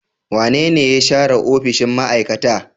Wanene ya share opishiy ma'aikata?